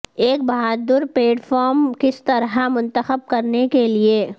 ایک بہادر paid firm کس طرح منتخب کرنے کے لئے